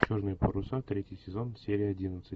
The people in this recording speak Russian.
черные паруса третий сезон серия одиннадцать